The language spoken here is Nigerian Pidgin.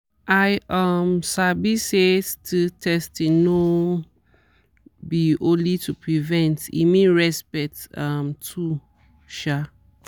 i um sabi say sti testing no be only to prevent e mean respect um too sha